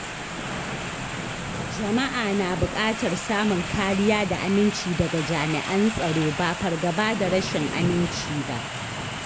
Jama’a na buƙatar samun kariya da aminci daga jami’an tsaro, ba fargaba da rashin aminci ba.